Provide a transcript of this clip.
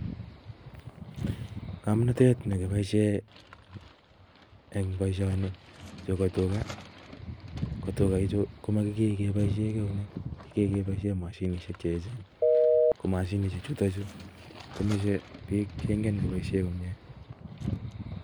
Komnotet nekiboishie eng boishonii bo tugaa, ko tuchuu komokikee keboishien eunek, kigee keboishien mashinishiek che when, komashinishiek chuton chuu komoche biik cheingen koboishen komie